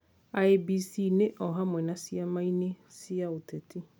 IEBC-inĩ o hamwe na ciama-inĩ cia ũteti,